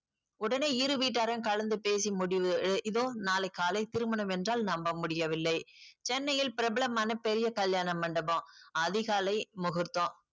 உடனே இரு வீட்டாரும் கலந்து பேசி முடிவு இதோ நாளை காலை திருமணம் என்றால் நம்ப முடிய வில்லை சென்னையில் பிரபலமான பெரிய கல்யாண மண்டபம் அதிகாலை முகுர்த்தம்